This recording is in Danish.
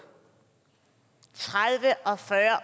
tredive